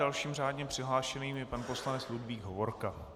Dalším řádně přihlášeným je pan poslanec Ludvík Hovorka.